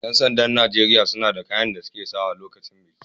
Yan sanda'n Nijeriya suna da kayan da suna sa lokacin biki.